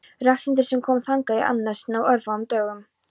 Ragnhildar sem kom þangað í annað sinn á örfáum dögum.